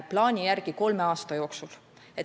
Plaani järgi toimub see kolme aasta jooksul.